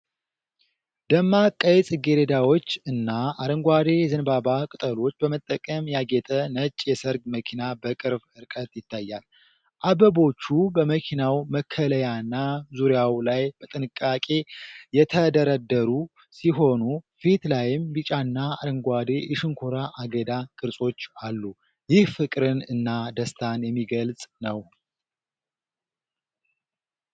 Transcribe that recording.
ደማቅ ቀይ ጽጌረዳዎች እና አረንጓዴ የዘንባባ ቅጠሎች በመጠቀም ያጌጠ ነጭ የሠርግ መኪና በቅርብ ርቀት ይታያል። አበቦቹ በመኪናው መከለያና ዙሪያው ላይ በጥንቃቄ የተደረደሩ ሲሆን፣ ፊቱ ላይም ቢጫና አረንጓዴ የሸንኮራ አገዳ ቅርጾች አሉ። ይህ ፍቅርን እና ደስታን የሚገልጽ ነው።